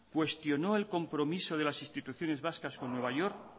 cuestionó el compromiso de las instituciones vascas con nueva york